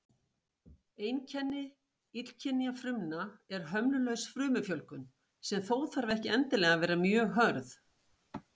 Einkenni illkynja frumna er hömlulaus frumufjölgun, sem þó þarf ekki endilega að vera mjög hröð.